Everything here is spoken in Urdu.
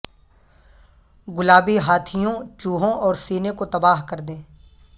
گلابی ہاتھیوں چوہوں اور سینے کو تباہ کر دیں